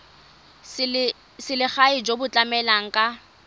selegae jo bo tlamelang ka